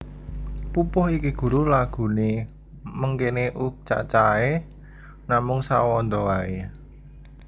Pupuh iki guru laghuné mengkéné U Cacahé namung sawanda waé